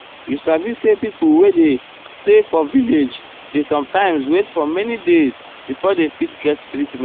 you sabi say pipo wey erm dey stay for village dey sometimes wait for many days before dey fift get treatment.